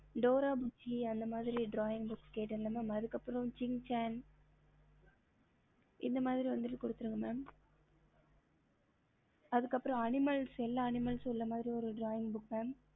ஹம்